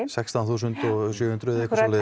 sextán þúsund sjö hundruð eða eitthvað svoleiðis